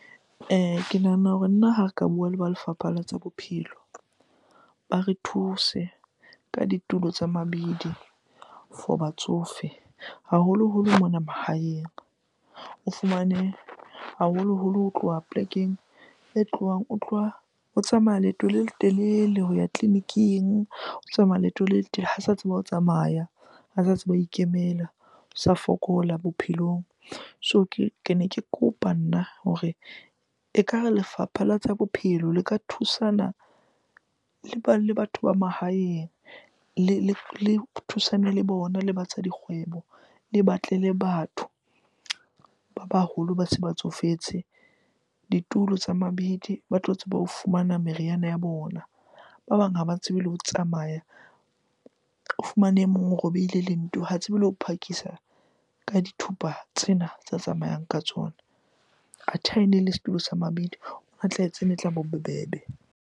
Ke nahana hore nna ha re ka bua le ba lefapha la tsa bophelo ba re thuse ka ditulo tsa mabidi for batsofe, haholoholo mona mahaeng. O fumane haholoholo ho tloha polekeng e tlohang, o tloha ho tsamaya leeto le letelele ho ya tleliniking. O tsamaya leeto le ha sa tseba ho tsamaya, ha sa tseba ho ikemela, o sa fokola bophelong. So kene ke kopa nna hore ekare lefapha la tsa bophelo le ka thusana le batho ba mahaeng le thusane le bona le ba tsa dikgwebo. Le batle le batho ba baholo ba se ba tsofetse ditulo tsa mabidi, ba tlo tseba ho fumana meriana ya bona. Ba bang ha ba tsebe le ho tsamaya, o fumane e mong o robehile lento. Ha tsebe le ho phakisa ka dithupa tsena tsa tsamayang ka tsona. Athe ha ene ele setulo sa mabidi, e tlaba bobebe.